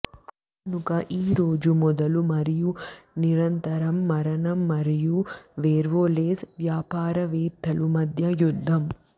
కనుక ఈ రోజు మొదలు మరియు నిరంతరం మరణం మరియు వేర్వోల్వేస్ వ్యాపారవేత్తలు మధ్య యుద్ధం